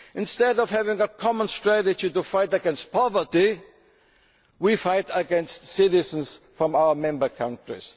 Instead of having a common strategy to fight against poverty, we fight against citizens from our member countries.